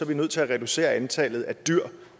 vi nødt til at reducere antallet af dyr